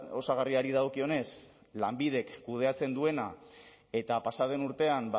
osagarriari dagokionez lanbidek kudeatzen duena eta pasa den urtean